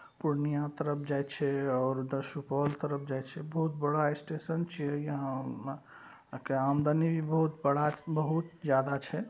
पूर्णिया तरफ जाय छै और उधर सुपौल तरफ जाय छै। बहुत बड़ा स्टेशन छीयेयहाँ या- मा के आमदनी भी बहुत बड़ा बहुत ज्यादा छै।